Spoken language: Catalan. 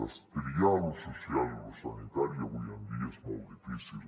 destriar lo social i lo sanitari avui en dia és molt difícil